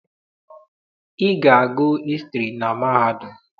Ị ga-agụ hịstrị na mahadum!